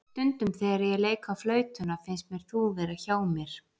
Stundum þegar ég leik á flautuna finnst mér þú vera hjá mér.